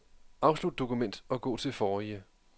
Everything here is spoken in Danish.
Afslut dokument og gå til forrige.